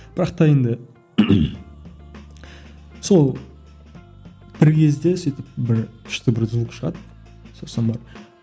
бірақ та енді сол бір кезде сөйтіп бір күшті бір звук шығады сосын барып